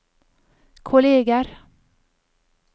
kolleger